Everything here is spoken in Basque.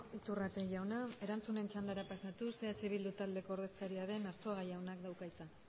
iturrate jauna erantzunen txandara pasatuz eh bildu taldearen ordezkaria den arzuaga jaunak dauka hitza